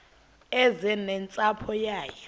eze nentsapho yayo